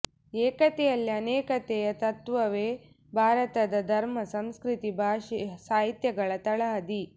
ಏಕತೆಯಲ್ಲಿ ಅನೇಕತೆಯ ತತ್ತ್ವವೇ ಭಾರತದ ಧರ್ಮ ಸಂಸ್ಕೃತಿ ಭಾಷೆ ಸಾಹಿತ್ಯಗಳ ತಳಹದಿ